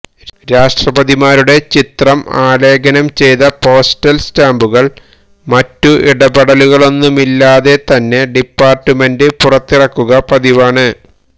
രാഷ്ട്രപതിമാരുടെ ചിത്രം ആലേഖനം ചെയ്ത പോസ്റ്റല് സ്റ്റാംമ്പുകള് മറ്റു ഇടപെടലുകളൊന്നുമില്ലാതെ തന്നെ ഡിപാര്ട്ട്മെന്റ് പുറത്തിറക്കുക പതിവാണ്